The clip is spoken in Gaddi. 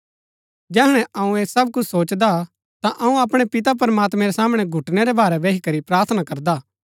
जैहणै अऊँ ऐह सब कुछ सोचदा हा ता अऊँ अपणै पिता प्रमात्मैं रै सामणै घुटनै रै भारै बही करी प्रार्थना करदा